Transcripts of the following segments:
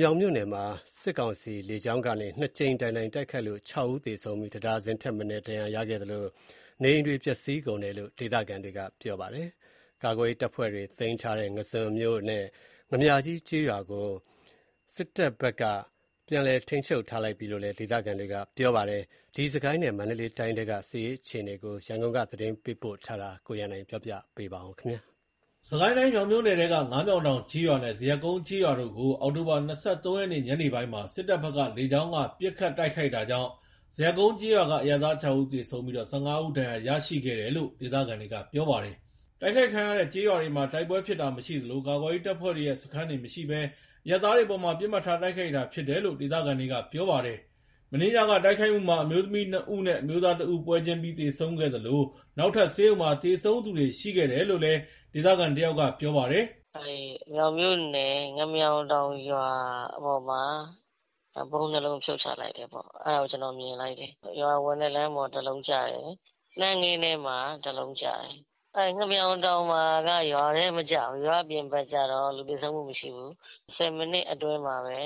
မြောင်မြို့နယ်မှာ စစ်ကောင်စီ လေကြောင်းကနေ နှစ်ကြိမ်တိုင်တိုင် တိုက်ခိုက်လို့ ၆ ဦး သေဆုံးပြီး တဒါဇင်ထက်မနည်း ဒဏ်ရာရရှိခဲ့သလို နေအိမ်တွေ ပျက်စီးကုန်တယ်လို့ ဒေသခံတွေက ဗွီအိုအေကိုပြောပါတယ်။ ကာကွယ်ရေးတပ်ဖွဲ့တွေ သိမ်းပိုက်ထားတဲ့ ငါန်းဇွန်မြို့နယ် ငါန်းမြာကြီးကျေးရွာကို စစ်တပ်ဘက်က ပြန်လည်ထိန်းချုပ်လိုက်ပြီလို့ ဒေသခံတွေက ပြောပါတယ်။ စစ်ကိုင်းတိုင်းနဲ့ မန္တလေးတိုင်းထဲက စစ်ရေးအခြေအနေ ရန်ကုန်က သတင်းပေးပို့ထားပါတယ်။ စစ်ကိုင်းတိုင်း မြောင်မြို့နယ်ထဲက ငါးမြောင်တောင်ကျေးရွာနဲ့ ဇရပ်ကုန်းကျေးရွာတို့ကို အောက်တိုဘာ ၂၃ ရက် ညနေပိုင်းမှာ စစ်တပ်ဘက်က လေကြောင်းက ပစ်ခတ်တိုက်ခိုက်တာကြောင့် ဇရပ်ကုန်းကျေးရွာက အရပ်သား ၆ ဦး သေဆုံးပြီး ၁၅ ဦး ဒဏ်ရာရရှိခဲ့တယ်လို့ ဒေသခံတွေက ပြောပါတယ်။ တိုက်ခိုက်ခံခဲ့ရတဲ့ကျေးရွာတွေမှာ တိုက်ပွဲဖြစ်တာမရှိသလို ကာကွယ်ရေး တပ်ဖွဲ့တွေရဲ့ စခန်းတွေမရှိဘဲ အရပ်သားတွေအပေါ် ပစ်မှတ်ထား တိုက်ခိုက်တာဖြစ်တယ်လို့ ဒေသခံတွေက ပြောပါတယ်။ မနေ့ညက တိုက်ခိုက်မှုမှာ အမျိုးသမီး ၂ ဦးနဲ့ အမျိုးသား ၁ ဦး ပွဲချင်းပြီး သေဆုံးခဲ့သလို နောက်ထပ် ဆေးရုံမှာ သေဆုံးသူတွေလည်း ရှိခဲ့တယ်လို့ ဒေသခံတယောက်က ပြောပါတယ်။ "မြောင်မြို့နယ် ငါးမြောင်တောင်ကျေးရွာမှာ ဗုံး ၂ လုံး ဖြုတ်ချလိုက်တယ်ပေါ့။ အဲ့ဒါတော့ ကျွန်တော်မြင်လိုက်တယ်။ ရွာဝင်တဲ့လမ်းပေါ် တလုံးကျတယ်။ နှမ်းခင်းထဲမှာ တလုံးကျတယ်။ ငါးမြောင်တောင်က ရွာထဲမကျဘဲ ရွာ့အပြင်ဘက်ကျတော့ လူသေဆုံးမှုမရှိဘူး။ ၁၀ မိနစ်အတွင်းမှာပဲ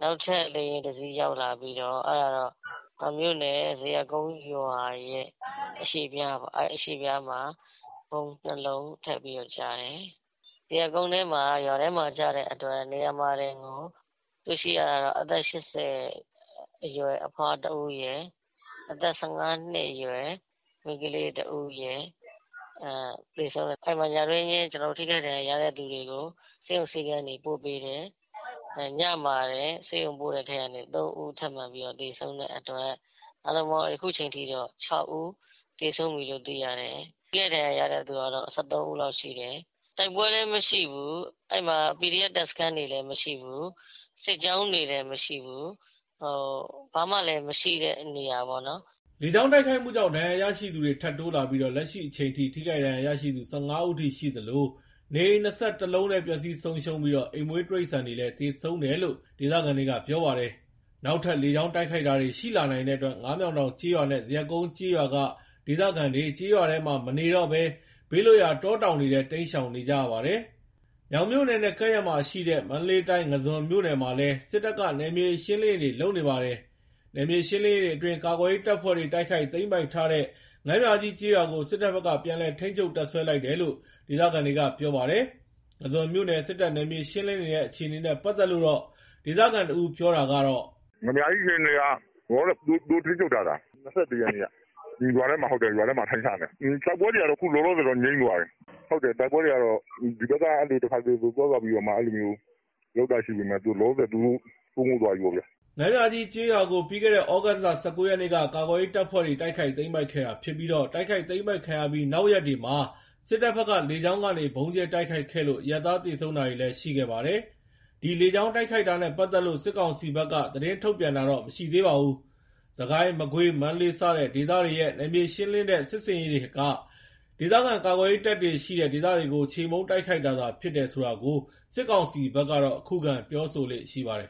နောက်ထပ် လေယာဉ်တစီးရောက်လာပြီးတော့ မြောင်မြို့နယ် ဇရပ်ကုန်းရွာရဲ့ အရှေ့ဖျားပေါ့။ ဗုံး ၂ လုံးထပ်ကျတယ်။ ဇရပ်ကုန်းထဲမှာက ရွာထဲမှာကျတော့ နေရာမှာတင်ကို တွေ့ရှိရတာက အသက် ၈၀ အရွယ် အဖွားတဦးရယ်အသက် ၁၅ နှစ်အရွယ် မိန်းကလေး ၁ ဦးရယ် သေဆုံးတယ်။ အဲ့မှာ ညတွင်းချင်း ထိခိုက်ဒဏ်ရာ ရတဲ့သူတွေကို ဆေးရုံဆေးခန်းတွေပို့ပေးတယ်။ ညမှာတင်ဆေးရုံပို့တဲ့ထဲက ၃ ဦး ထပ်မံပြီး သေဆုံးတဲ့အတွက် အားလုံးပေါင်း အခုချိန်ထိ ၆ ဦးသေဆုံးပြီလို့ သိရတယ်။ ထိခိုက်ဒဏ်ရာ ရတဲ့သူကတော့ ၁၃ ဦးလောက်ရှိတယ်။ တိုက်ပွဲလည်းမရှိဘူး ကာကွယ်ရေး တပ်စခန်းတွေလည်းမရှိဘူး။ စစ်ကြောင်းလည်းမရှိဘူး ဘာမှ မရှိတဲ့နေရာပေါ့။" လေကြောင်းတိုက်ခိုက်မှုကြောင့် ဒဏ်ရာရရှိသူတွေ ထပ်တိုးလာပြီး လက်ရှိအချိန်ထိ ထိခိုက်ဒဏ်ရာရရှိသူ ၁၅ ဦးအထိ ရှိသလို နေအိမ် ၂၁ လုံးလည်း ပျက်စီးဆုံးရှုံးပြီး အိမ်မွေးတိရစ္ဆာန်တွေလည်း သေဆုံးတယ်လို့ ဒေသခံတွေက ပြောပါတယ်။ နောက်ထပ် လေကြောင်းတိုက်ခိုက်တာတွေ ရှိလာနိုင်တဲ့အတွက် ငါးမြောင်တောင်ကျေးရွာနဲ့ ဇရပ်ကုန်းကျေးရွာက ဒေသခံတွေ ကျေးရွာထဲမှာမနေတော့ဘဲ ဘေးလွတ်ရာ တောတောင်တွေထဲ တိမ်းရှောင်နေရပါတယ်။ မြောင်မြို့နယ်နဲ့ ကပ်ရက်မှာရှိတဲ့ မန္တလေးတိုင်း ငါန်းဇွန်မြို့နယ်မှာလည်း စစ်တပ်က နယ်မြေရှင်းလင်းရေးတွေ လုပ်နေပါတယ်။ နယ်မြေရှင်းလင်းရေးအတွင်း ကာကွယ်ရေးတပ်ဖွဲ့တွေ တိုက်ခိုက်သိမ်းပိုက်ထားတဲ့ ငါန်းမြာကြီးကျေးရွာကို စစ်တပ်ဘက်က ပြန်လည် ထိန်းချုပ်တပ်စွဲလိုက်တယ်လို့ ဒေသခံတွေက ပြောပါတယ်။ ငါန်းဇွန်မြို့နယ် စစ်တပ်နယ်မြေ ရှင်းလင်းနေတဲ့အခြေအနေနဲ့ ပတ်သက်လို့ ဒေသခံတဦး ပြောတာကတော့ "ငါန်းမြာကြီးအခြေအနေက လောလောဆယ် သူတို့ထိန်းချုပ်ထားတာ။ ၂၁ ရက်နေ့က ရွာထဲမှာ အထိုင်ချနေတာ။ တိုက်ပွဲတွေက အခုလောလောဆယ် ငြိမ်းသွားတယ်။ တိုက်ပွဲတွေက ဒီဘက်က တခါတလေသွားသွားပြီးတော့ လုပ်တာရှိပေမယ့် လောလောဆယ် သူတို့ စိုးမိုးသွားပြီပေါ့ဗျာ။" ငါန်းမြာကြီးကျေးရွာကို ပြီးခဲ့တဲ့ သြဂုတ် ၁၉ ရက်က ကာကွယ်ရေး တပ်ဖွဲ့တွေ တိုက်ခိုက်သိမ်းပိုက်ခဲ့တာဖြစ်ပြီး တိုက်ခိုက်သိမ်းပိုက်ခံရပြီး နောက်ရက်တွေမှာ စစ်တပ်ဘက်က လေကြောင်းကနေ ဗုံးကြဲတိုက်ခိုက်ခဲ့လို့ အရပ်သား သေဆုံးတာတွေလည်း ရှိခဲ့ပါတယ်။ ဒီလေကြောင်းတိုက်ခိုက်တာနဲ့ ပတ်သက်လို့ စစ်ကောင်စီဘက်က သတင်းထုတ်ပြန်တာမရှိသေးပါဘူး။ စစ်ကိုင်း၊ မကွေး၊ မန္တလေးစတဲ့ဒေသတွေရဲ့ နယ်မြေရှင်းလင်းတဲ့စစ်ဆင်ရေးတွေက ဒေသခံကာကွယ်ရေးတပ်တွေရှိတဲ့ဒေသတွေကို ချေမှုန်းတိုက်ခိုက်တာသာဖြစ်တယ်ဆိုတာကို စစ်ကောင်စီက ခုခံပြောဆိုလေ့ရှိပါတယ်